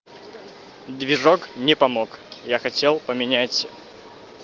движок не помог я хотел поменять